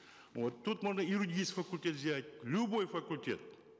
вот тут можно юридический факультет взять любой факультет